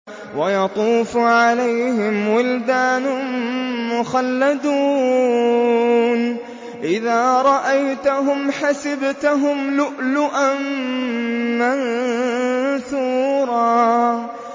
۞ وَيَطُوفُ عَلَيْهِمْ وِلْدَانٌ مُّخَلَّدُونَ إِذَا رَأَيْتَهُمْ حَسِبْتَهُمْ لُؤْلُؤًا مَّنثُورًا